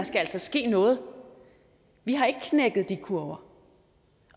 skal ske noget vi har ikke knækket de kurver